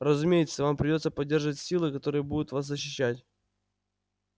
разумеется вам придётся поддерживать силы которые будут вас защищать